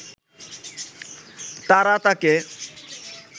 তারা তাঁকে